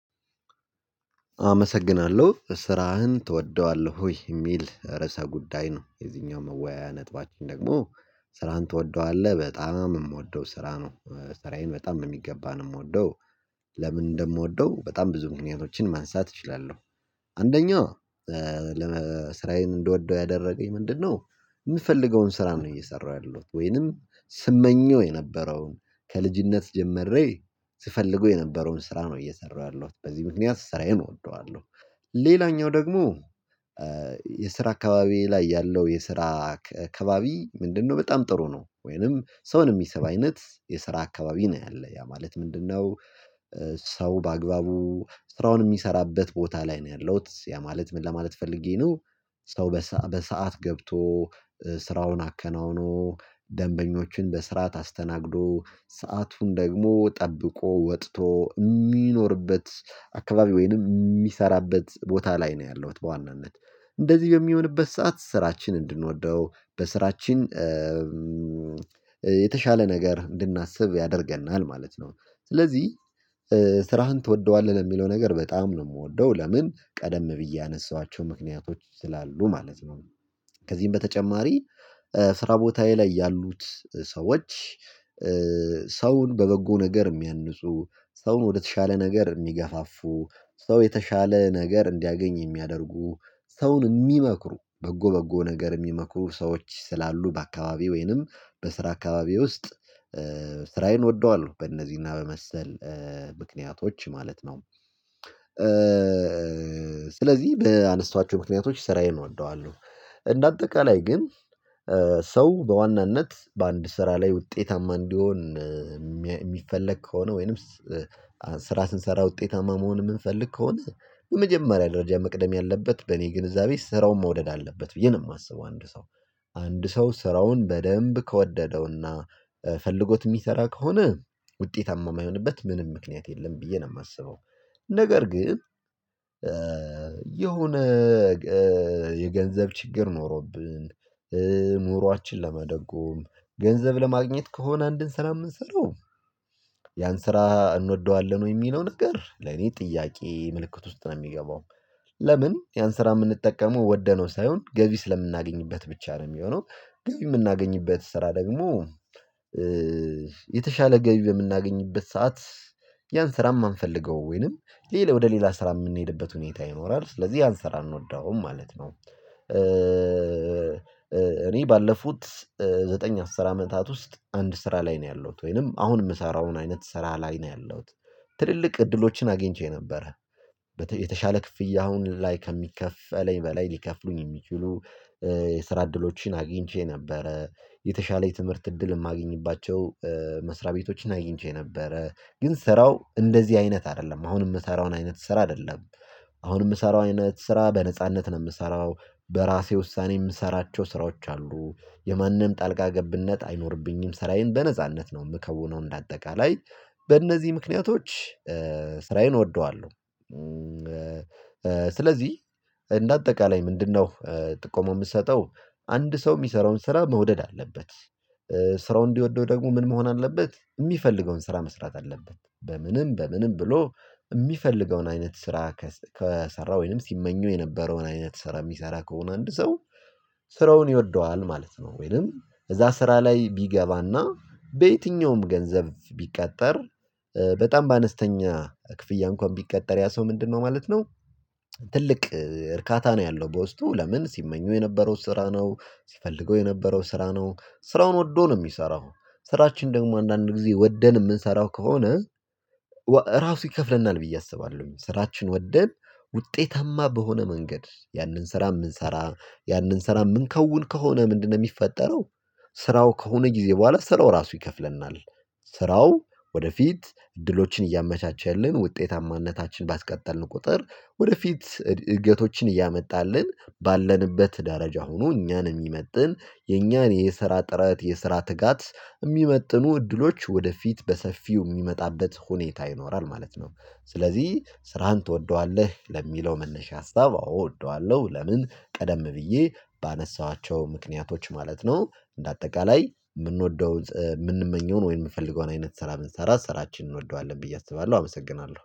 አመሰግናለሁ። ስራህን ትወደዋለህ ወይ? የሚል ርዕሰ ጉዳይ ነው የዚህኛው መወያያ ነጥባችን ደግሞ ስራን ትወደዋለህ። በጣም የምወደው ስራ ነው። ስራዬን በጣም በሚገባ ነው የምወደው። ለምን እንደምወደው በጣም ብዙ ምክንያቶችን ማንሳት እችላለሁ። አንደኛው ስራየን እንድወደው ያደረገኝ ምንድነው? የምፈልገውን ስራም ነው እየሰራሁ ያለሁት። ወይንም ስመኘው የነበረውን ከልጅነት ጀምሬ ስፈልገው የነበረውን ስራ ነው እየሰራሁ ያለሁት። በዚህ ምክንያት ስራዬን እወደዋለሁ። ሌላኛው ደግሞ የስራ አካባቢ ላይ ያለው የስራ ከባቢ ምንድነው በጣም ጥሩ ነው። ወይንም ሰውን የሚሰብ አይነት የስራ አካባቢ ነው ያለው። ያ ማለት ምንድነው? ሰው በአግባቡ ስራውን የሚሰራበት ቦታ ላይ ነው ያለሁት። ያ ማለት ምን ለማለት ፈልጌ ነው? ሰው በሰአት ገብቶ ስራውን አከናውኖ ደንበኞችን በስርዓት አስተናግዶ ሰአቱን ደግሞ ጠብቆ ወጥቶ የሚኖርበት አካባቢ ወይንም የሚሰራበት ቦታ ላይ ነው ያለሁት በዋናነት። እንደዚህ በሚሆንበት ሰዓት ስራችን እንድንወደው በስራችን የተሻለ ነገር እንድናስብ ያደርገናል ማለት ነው። ስለዚህ ስራህን ትወደዋለህ? ለሚለው ነገር በጣም ነው የምወደው። ለምን? ቀደም ብዬ ያነሳኋቸው ምክንያቶች ስላሉ ማለት ነው። ከዚህም በተጨማሪ ስራ ቦታዬ ላይ ያሉት ሰዎች ሰውን በበጎ ነገር የሚያንፁ፣ ሰውን ወደተሻለ ነገር የሚገፋፉ፣ ሰው የተሻለ ነገር እንዲያገኝ የሚያደርጉ፣ ሰውን የሚመክሩ በጎ በጎ ነገር የሚመክሩ ሰዎች ስላሉ በአካባቢው ወይንም በስራ አካባቢ ውስጥ ስራዬን እወደዋለሁ። በእነዚህና በመሰል ምክንያቶች ማለት ነው። ስለዚህ በአነሳዋቸው ምክንያቶች ስራዬን እወደዋለሁ። እንደ አጠቃላይ ግን ሰው በዋናነት በአንድ ስራ ላይ ውጤታማ እንዲሆን የሚፈለግ ከሆነ ወይንም ስራ ስንሰራ ውጤታማ መሆን የምንፈልግ ከሆነ በመጀመሪያ ደረጃ መቅደም ያለበት በእኔ ግንዛቤ ስራውን መውደድ አለበት ብዬ ነው የማስበው አንድ ሰው። አንድ ሰው ስራውን በደንብ ከወደደውና ፈልጎት የሚሰራ ከሆነ ውጤታማ የማይሆንበት ምንም ምክንያት የለም ብዬ ነው የማስበው። ነገር ግን የሆነ የገንዘብ ችግር ኖሮብን፣ ኑሯችን ለመደጎም፣ ገንዘብ ለማግኘት ከሆነ አንድን ስራ የምንሰራው ያን ስራ እንወደዋለን ወይ? የሚለው ነገር ለኔ ጥያቄ ምልክት ውስጥ ነው የሚገባው። ለምን ያን ስራ የምንጠቀመው ወደነው ሳይሆን ገቢ ስለምናገኝበት ብቻ ነው የሚሆነው። ገቢ የምናገኝበት ስራ ደግሞ የተሻለ ገቢ በምናገኝበት ሰዓት ያን ስራ የማንፈልገው ወይንም ወደ ሌላ ስራ የምንሄድበት ሁኔታ ይኖራል። ስለዚህ ያን ስራ አንወደውም ማለት ነው። እኔ ባለፉት ዘጠኝ አስር አመታት ውስጥ አንድ ስራ ላይ ነው ያለሁት። ወይንም አሁን የምሰራውን አይነት ስራ ላይ ነው ያለሁት። ትልልቅ እድሎችን አግኝቼ ነበረ የተሻለ ክፍያ አሁን ላይ ከሚከፈለኝ በላይ ሊከፍሉኝ የሚችሉ የስራ እድሎችን አግኝቼ ነበረ። የተሻለ የትምህርት እድል የማግኝባቸው መስሪያ ቤቶችን አግኝቼ ነበረ። ግን ስራው እንደዚህ አይነት አይደለም። አሁን የምሰራውን አይነት ስራ አይደለም። አሁን የምሰራው አይነት ስራ በነጻነት ነው የምሰራው። በራሴ ውሳኔ የምሰራቸው ስራዎች አሉ። የማንም ጣልቃ ገብነት አይኖርብኝም። ሰራየን በነጻነት ነው የምከውነው እንደ አጠቃላይ በእነዚህ ምክንያቶች ስራዬን እወደዋለሁ። ስለዚህ እንደ አጠቃላይ ምንድነው ጥቆማ የምሰጠው አንድ ሰው የሚሰራውን ስራ መውደድ አለበት። ስራውን እንዲወደው ደግሞ ምን መሆን አለበት? የሚፈልገውን ስራ መስራት አለበት። በምንም በምንም ብሎ የሚፈልገውን አይነት ስራ ከሰራ ወይንም ሲመኘው የነበረውን አይነት ስራ የሚሰራ ከሆነ አንድ ሰው ስራውን ይወደዋል ማለት ነው። ወይም እዛ ስራ ላይ ቢገባና በየትኛውም ገንዘብ ቢቀጠር በጣም ባነስተኛ ክፍያ እንኳን ቢቀጠር ያ ሰው ምንድነው ማለት ነው? ትልቅ እርካታ ነው ያለው በውስጡ። ለምን ሲመኘው የነበረው ስራ ነው። ሲፈልገው የነበረው ስራ ነው። ስራውን ወዶ ነው የሚሰራው። ስራችን ደግሞ አንዳንድ ጊዜ ወደን የምንሰራው ከሆነ እራሱ ይከፍለናል ብዬ አስባለሁ። ስራችንን ወደን ውጤታማ በሆነ መንገድ ያንን ስራ የምንሰራ ያንን ስራ የምንከውን ከሆነ ምንድነው የሚፈጠረው ስራው ከሆነ ጊዜ በኋላ ስራው ራሱ ይከፍለናል። ስራው ወደፊት እድሎችን እያመቻቸልን ውጤታማነታችን ባስቀጠልን ቁጥር ወደፊት እድገቶችን እያመጣልን ባለንበት ደረጃ ሆኖ እኛን የሚመጥን የኛን የሰራ ጥረት የሰራ ትጋት የሚመጥኑ እድሎች ወደፊት በሰፊው የሚመጣበት ሁኔታ ይኖራል ማለት ነው። ስለዚህ ስራህን ትወደዋለህ? ለሚለው መነሻ ሀሳብ አዎ እወደዋለሁ። ለምን ቀደም ብዬ ባነሳኋቸው ምክንያቶች ማለት ነው። እንደ አጠቃላይ የምንወደውን የምንመኘውን ወይም የምንፈልገውን አይነት ስራ ብንሰራ ስራችንን እንወደዋለን ብዬ አስባለሁ። አመሰግናለሁ።